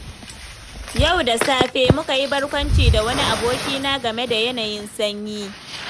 Yau da safe, muka yi barkwanci da wani abokina game da yanayin sanyi.